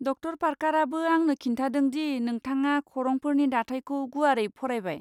ड. पार्कारआबो आंनो खिन्थादों दि नोंथाङा खरंफोरनि दाथायखौ गुवारै फरायबाय।